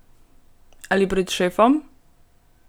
Ali pred šefom?